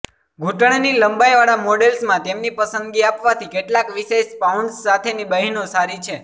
ઘૂંટણની લંબાઈવાળા મોડલ્સમાં તેમની પસંદગી આપવાથી કેટલાક વિશેષ પાઉન્ડ્સ સાથેની બહેનો સારી છે